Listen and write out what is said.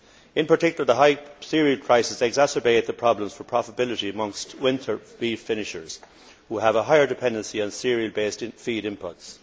In particular, the high cereal prices exacerbate the problems for profitability amongst winter beef finishers, who have a higher dependency on cereal based feed imports.